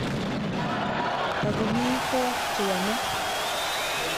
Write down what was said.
Tagomi peek che yome.